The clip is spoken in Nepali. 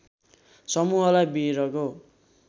समूहलाई विरगो